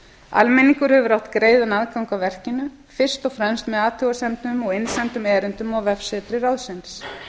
almenningur hefur átt greiðan aðgang að verkinu fyrst og fremst með athugasemdum og innsendum erindum á vefsetri ráðsins